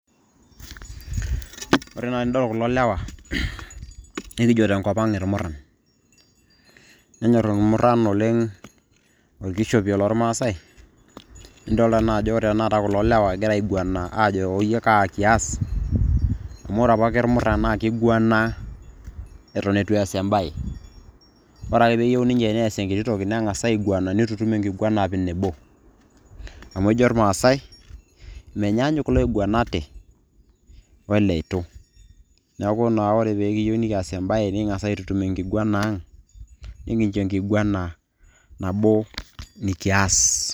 Ore naa tenidol kulo lewa, nikijo tenkop ang' irmurran. Nenyor irmurran oleng' orkishopie lormasai. Nidolta najo ore tanakata kulo murran egira aiguana ajo oyie kaa kias. Amu ore apake irmurran na kiguana eton eitu eas ebae. Ore ake peyieu ninche neas enkiti toki, neng'as aiguana nitutum enkiguana apik ewei nebo. Amu ejo irmaasai, menyaanyuk iloiguanate oleitu. Neeku naa ore pekiyieu nikias ebae, niking'asa aitutum enkiguana ang',nikincho enkiguana nabo nikias.